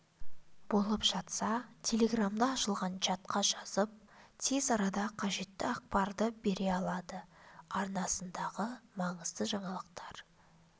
болып жатса телеграмда ашылған чатқа жазып тез арада қажетті ақпарды бере алады арнасындағы маңызды жаңалықтар